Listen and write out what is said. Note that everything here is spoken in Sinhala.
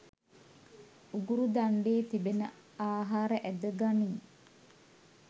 උගුරු දණ්ඩේ තිබෙන ආහාර ඇද ගනී.